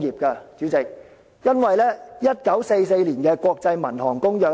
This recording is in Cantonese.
由於1944年的《國際民用航空公約》